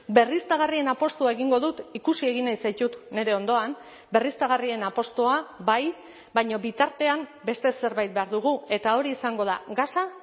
berriztagarrien apustua egingo dut ikusi egin nahi zaitut nire ondoan berriztagarrien apustua bai baina bitartean beste zerbait behar dugu eta hori izango da gasa